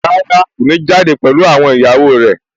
Rárá, kò ní jáde pẹ̀lú àwọn ìyàwó rẹ̀